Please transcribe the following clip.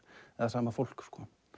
eða sama fólk